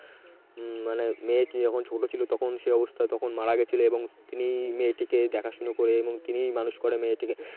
মানে মেয়েটি যখন ছোট ছিল তখন সেই অবস্থায় তখন মারা গেছিল এবং তিনি মেয়েটিকে দেখাশোনা করে এবং তিনি মানুষ করে মেয়েটিকে